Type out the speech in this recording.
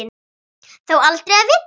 Þó aldrei að vita.